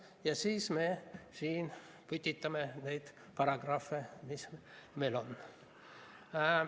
Ja siis me siin putitame neid paragrahve, mis meil on.